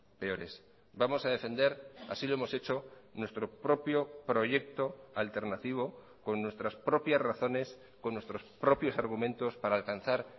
peores vamos a defender así lo hemos hecho nuestro propio proyecto alternativo con nuestras propias razones con nuestros propios argumentos para alcanzar